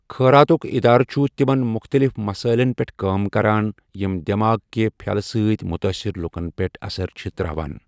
خٲراتُک اِدارٕ چُھ تِمن مُختٔلِف مسٲیِلن پٮ۪ٹھ کٲم کَران یِم دٮ۪ماغ کہِ پھٮ۪لہٕ سۭتۍ مُتٲثِر لُکن پیٚٹھ اثر چھِ ترٛاوان۔